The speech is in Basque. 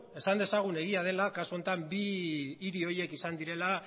esan dezagun egia dela kasu honetan bi hiri horiek izan direla